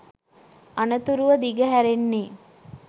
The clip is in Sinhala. අනතුරුව දිග හැරෙන්නේ